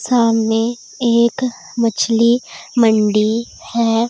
सामने एक मछली मंडी है।